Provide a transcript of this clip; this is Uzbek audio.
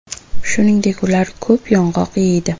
Shuningdek, ular ko‘p yong‘oq yeydi.